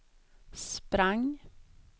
sprang